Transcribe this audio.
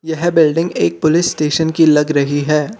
यह बिल्डिंग एक police station की लग रही है।